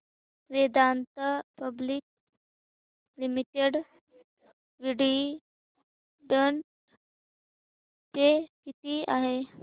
Vedanta public limited dividend pay किती आहे